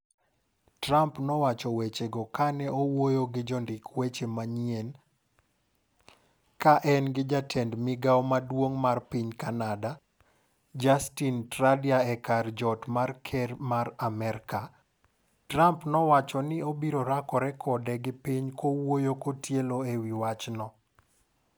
Trump nowacho weche go ka ne owuoyo gi jondik weche manyien kaen gi jatend migao maduong' mar piny Canada, Justin Trudeau e kar jot mar ker mar Amerka. Trump wacho ni obiro rakore kode gi piny kowuoyo kotielo ewi wachno.